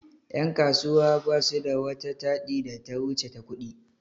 Yan' kasuwa basu da wata taɗi da ta wuce ta ƙudi.